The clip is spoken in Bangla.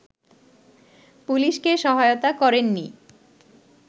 পুলিশকে সহায়তা করেননি